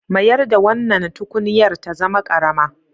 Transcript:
Mayar da wannan tukunyar ta zama ƙarama.